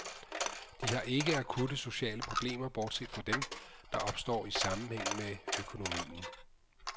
De har ikke akutte sociale problemer bortset fra dem, der opstår i sammenhæng med økonomien.